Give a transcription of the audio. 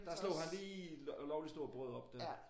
Der slog han lige et lovligt stort brød op der